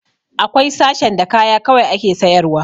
Akwai sashen da kaya kawai ake sayar wa